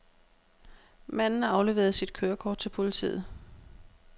Manden afleverede sit kørekort til politiet.